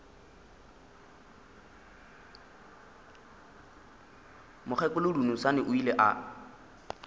mokgekolo dunusani o ile a